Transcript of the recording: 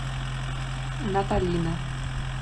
наталина